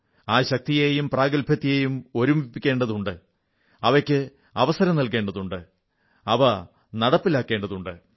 ആ ശക്തിയെയും ആ പ്രാഗൽഭ്യത്തെയും ഒരുമിപ്പിക്കേണ്ടതുണ്ട് അവയ്ക്ക് അവസരം നൽകേണ്ടതുണ്ട് അവ നടപ്പിലാക്കേണ്ടതുണ്ട്